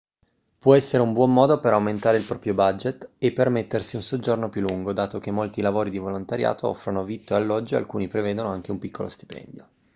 può essere un buon modo per aumentare il proprio budget e permettersi un soggiorno più lungo dato che molti lavori di volontariato offrono vitto e alloggio e alcuni prevedono anche un piccolo stipendio